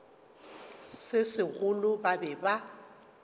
se segolo ba be ba